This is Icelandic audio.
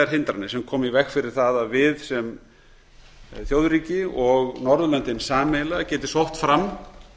hindranir sem koma í veg fyrir það að við sem þjóðríki og norðurlöndin sameiginlega geti sótt fram